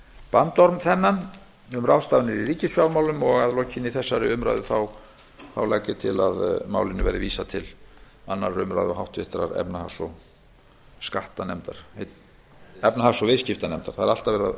bandorm þennan um ráðstafanir í ríkisfjármálum og að lokinni þessari umræðu legg ég til að málinu verði vísað til annarrar umræðu og háttvirtrar efnahags og viðskiptanefndar